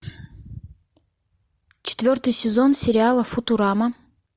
четвертый сезон сериала футурама